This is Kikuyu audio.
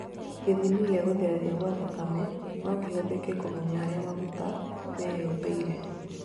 Gĩthimi gĩa gũtherera gwa thakame, nokĩhũthĩke kũmenya harĩa maguta meyũmbĩire